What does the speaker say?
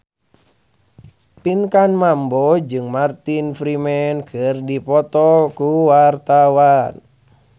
Pinkan Mambo jeung Martin Freeman keur dipoto ku wartawan